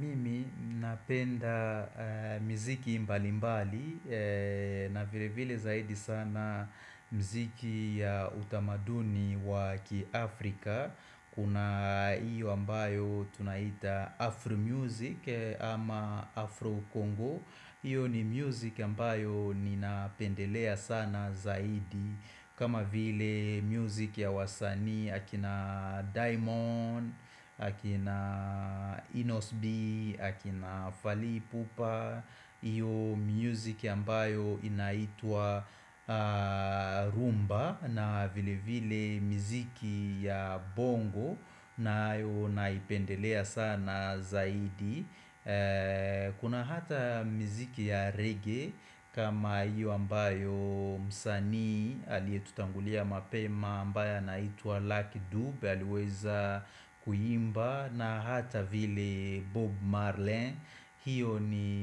Mimi napenda miziki mbalimbali, na vile vile zaidi sana mziki ya utamaduni wa kiafrika Kuna hiyo ambayo tunaita Afro music ama Afro Congo Iyo ni music ambayo ninapendelea sana zaidi kama vile music ya wasanii akina Diamond, akina Enos B, akina Fali Ipupa Iyo music ambayo inaitwa, rhumba na vile vile miziki ya bongo na hayo naipendelea sana zaidi Kuna hata mziki ya reggae kama iyo ambayo msanii aliyetutangulia mapema, ambaye anaituwa Lucky Dube, aliweza kuimba na hata vile Bob Marley hiyo ni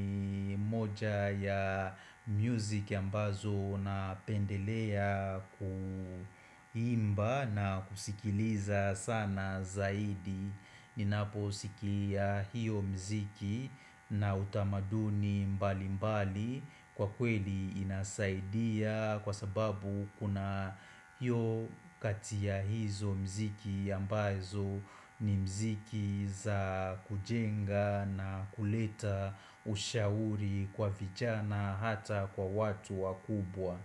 moja ya music ambazo napendelea kuimba na kusikiliza sana zaidi Ninaposikia hiyo mziki na utamaduni mbali mbali kwa kweli inasaidia kwa sababu kuna hiyo kati ya hizo mziki ambazo ni mziki za kujenga na kuleta ushauri kwa vijana hata kwa watu wakubwa.